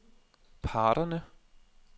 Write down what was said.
parterne